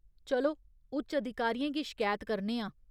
चलो, उच्च अधिकारियें गी शकैत करने आं।